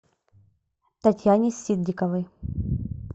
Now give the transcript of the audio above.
татьяне ситдиковой